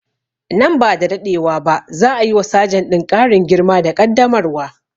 Nan ba da daɗewa ba za a yi wa sajan ɗin ƙarin girma da ƙaddamarwa